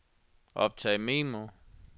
optag memo